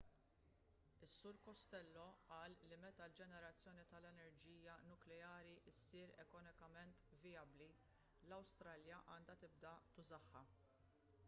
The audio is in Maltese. is-sur costello qal li meta l-ġenerazzjoni tal-enerġija nukleari ssir ekonomikament vijabbli l-awstralja għandha tibda tużaha